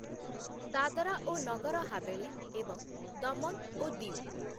ଦାଦରା ଓ ନଗର ହାବେଳି ଏବଂ ଦମନ ଓ ଦିଉ